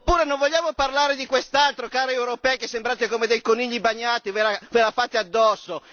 Oppure, non vogliamo parlare di quest'altro cari europei che sembrate come dei conigli bagnati, ve la fate addosso!